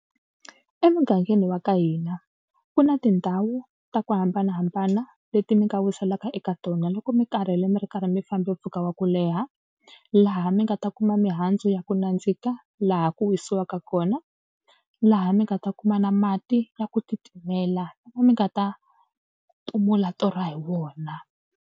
Emugangeni wa ka hina ku na tindhawu ta ku hambanahambana leti mi nga wiselaka eka tona loko mi karhele mi ri karhi mi fambe mpfhuka wa ku leha. Laha mi nga ta ku kuma mihandzu ya ku nandzika laha ku wisiwaka kona. Laha mi nga ta kuma na mati ya ku titimela mi nga ta timula torha hi wona.